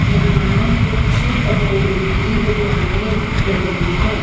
यहां कुछ पकौड़े की दुकानें लगी हैं।